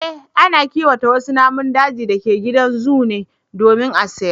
Eh, ana kiwata wasu naman dajin da ke gidan zoo ne domin a sayar